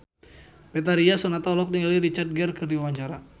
Betharia Sonata olohok ningali Richard Gere keur diwawancara